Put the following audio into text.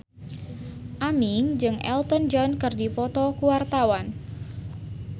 Aming jeung Elton John keur dipoto ku wartawan